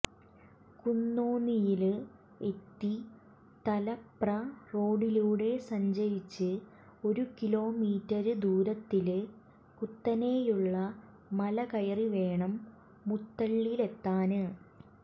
കുന്നോന്നിയില് എത്തി തലപ്ര റോഡിലൂടെ സഞ്ചരിച്ച് ഒരു കിലോമീറ്റര് ദൂരത്തില് കുത്തനെയുള്ള മലകയറിവേണം മുത്തള്ളിലെത്താന്